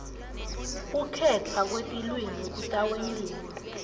kukhetfwa kwetilwimi kutawentiwa